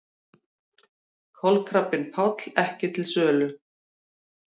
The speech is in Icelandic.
Kolkrabbinn Páll ekki til sölu